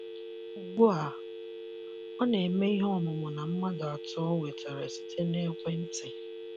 Ugbu a, ọ na - eme ihe ọmumu na mmadụ atọ o nwetara site na ekwe nti